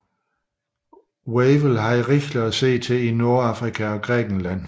Wavell havde rigeligt at se til i Nordafrika og Grækenland